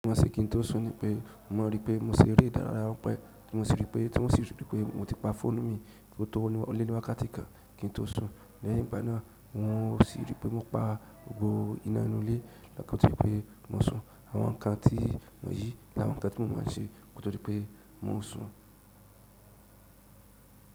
Mo má se kí n tó sùn ní pé mo maa n rí pé mo se ere ìdárayá ranpẹ kí mo sì rí pé tí wọ́n sì rí pé mo ti pa fóònù mi tó tọrọ ní o le ní wákàtí kan kín tó sùn. Lẹ́yìn igbana un ò sì rí pé mo pa gbogbo iná inú ilé lọ́kàn tó pé mo sùn. Àwọn nǹkan tí mo yìí ni àwọn nǹkan tí mo maa n ṣe kó tó di pé mo sùn.